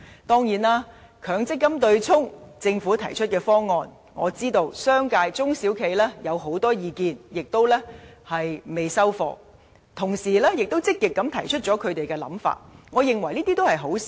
當然，對於政府就強積金對沖機制提出的方案，我知道商界及中小企有很多意見，亦未肯接受方案，同時亦積極提出他們的看法，我認為這是好事。